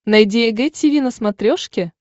найди эг тиви на смотрешке